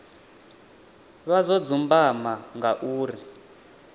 vha zwo dzumbama nga uri